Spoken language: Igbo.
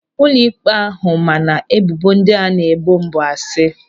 Ụlọịkpe ahụ ma na ebubo ndị a na-ebo m bụ asị